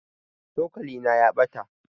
cokalina ya ɓata